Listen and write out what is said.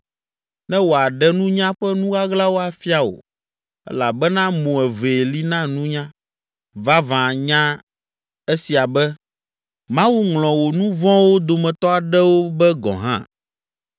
ne wòaɖe nunya ƒe nu ɣaɣlawo afia wò elabena mo evee li na nunya. Vavã, nya esia be: Mawu ŋlɔ wò nu vɔ̃wo dometɔ aɖewo be gɔ̃ hã.